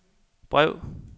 brev